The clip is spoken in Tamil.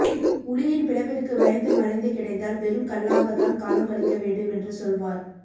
உளியின் பிளப்பிற்கு பயந்து மறைந்து கிடந்தால் வெறும் கல்லாக தான் காலம் கழிக்க வேண்டும் என்று சொல்வார்